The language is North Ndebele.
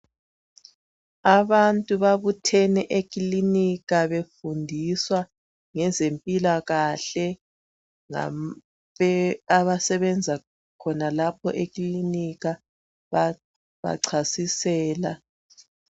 Abantu babuthene ekilinika befundiswa ngezempilakahle ngabasenza khonpha ekilinika bayabachasisela.